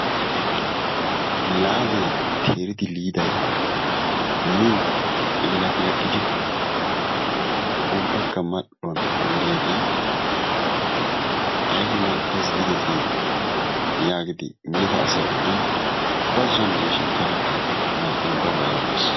Laadee teeridi liday miin laqilaqidi ubbaka mal"uwaan woriyaagee ayba mal"ees gidetii! yaagidi miida asay oodin baazon deeshin taanaka ba ba yaagees.